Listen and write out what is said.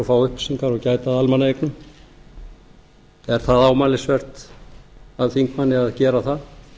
fá upplýsingar og gæta að almannaeignum er það ámælisvert af þingmanni að gera það